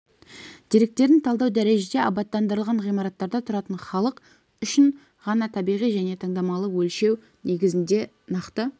деректерін талдау дәрежеде абаттандырылған ғимараттарда тұратын халық үшін ғана табиғи және таңдамалы өлшеу негізінде нақты